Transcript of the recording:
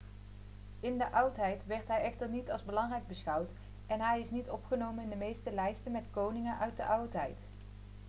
in de oudheid werd hij echter niet als belangrijk beschouwd en hij is niet opgenomen in de meeste lijsten met koningen uit de oudheid